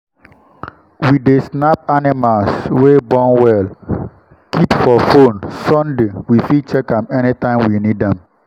we dey snap animals wey born well keep for phone sunday we fit check am anytime we need am.